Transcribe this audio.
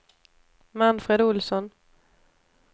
Manfred Ohlsson